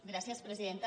gràcies presidenta